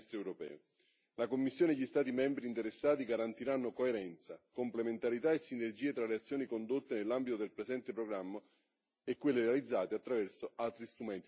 La Commissione e gli Stati membri interessati garantiranno coerenza, complementarità e sinergie tra le azioni condotte nell'ambito del presente programma e quelle realizzate attraverso altri strumenti dell'Unione europea.